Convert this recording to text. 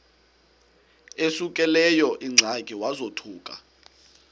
esekuleyo ingxaki wazothuka